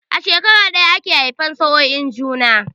A shekara ɗaya ake haifan sa'oin juna